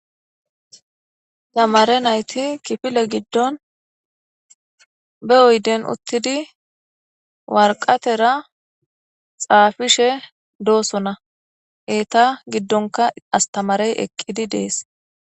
Tamare nayit kifile giddon na oyidden utidi woraqetara xaafishe dosona.eta giddonka astamare eqqidi dees